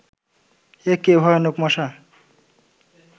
একে ভয়ানক মশা